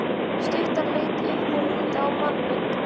Sú stutta leit upp og rýndi á manninn.